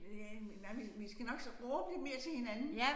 Ja men nej vi vi skal nok råbe lidt mere til hinanden